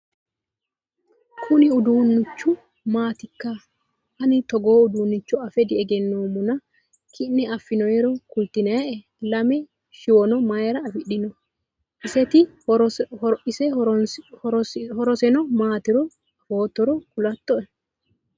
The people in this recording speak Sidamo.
Kuni uduunichu maatikka? Ani togoo uduunnicho afe degenoommana ki'ne affinoyiiro kultinayii'e? Lame shiwono mayiira afidhino? Isiti horosino maatiro afoottoro kulatto'e?